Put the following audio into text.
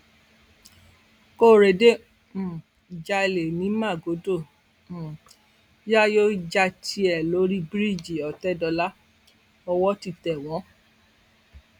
kórẹdé um ń jalè ní magodo um yayo ń ja tiẹ lórí bíríìjì ọtẹdọlà owó ti tẹ wọn